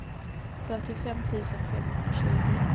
fyrtiofem tusen femhundratjugo